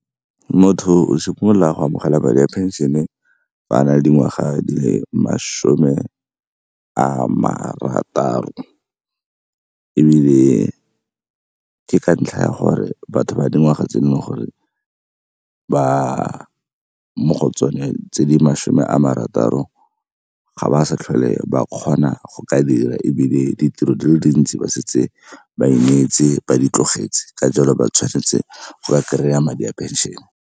Motho o simolola go amogela madi a pension-e a na le dingwaga di le masome a marataro, ebile ke ka ntlha ya gore batho ba dingwaga tse e leng gore ke ba mo go tsone tse di masome a marataro, ga ba sa tlhole ba kgona go ka dira ebile ditiro di le dintsi ba setse ba emetse, ba di tlogetse, ka jalo ba tshwanetse go ba kry-a madi a pension-e.